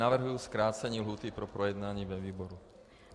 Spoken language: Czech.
Navrhuji zkrácení lhůty pro projednání ve výboru.